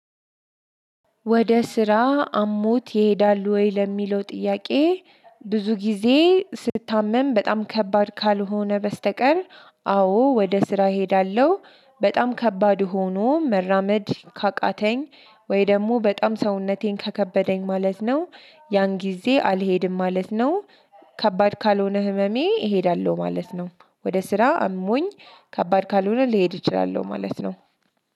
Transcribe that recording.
ወደ ስራ አሞት ይሄዳል ወይ ለሚለው ጥያቄ? ብዙ ጊዜ ስታመም በጣም ከባድ ካልሆነ በስተቀር አ አዎ ወደ ስራ እሄዳለሁ በጣም ከባድ ሆኖ መራመድ ካቃተኝ ወይ ደግሞ በጣም ሰውነቴን ከከበደኝ ማለት ነው ያን ጊዜ አልሄድም ማለት ነው። ከባድ ካልሆነ ህመሜ እሄዳለሁ ማለት ነው። ወደ ስራ አሞኝ ከባድ ካልሆነ ሊሄድ ይችላል ማለት ነው።